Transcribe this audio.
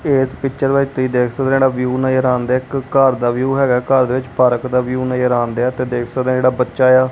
ਇਸ ਪਿਕਚਰ ਵਿੱਚ ਤੁਹੀ ਦੇਖ ਸਕਦੇ ਆ ਜਿਹੜਾ ਵਿਊ ਨਜ਼ਰ ਆਉਣ ਦਿਆ ਇੱਕ ਘਰ ਦਾ ਵਿਊ ਹੈਗਾ ਘਰ ਦੇ ਵਿੱਚ ਪਾਰਕ ਦਾ ਵਿਊ ਨਜ਼ਰ ਆਉਂਦਿਆ ਤੇ ਦੇਖ ਸਕਦੇ ਆਂ ਜਿਹੜਾ ਬੱਚਾ ਏ ਆ --